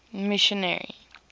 missionary